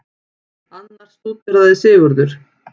Annars stúderaði Sigurður